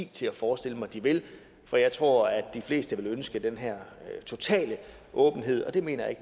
til at forestille mig at de vil for jeg tror at de fleste vil ønske den her totale åbenhed og det mener jeg